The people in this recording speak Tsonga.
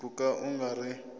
ku ka u nga ri